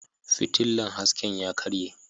Fitilla hasken ya karye.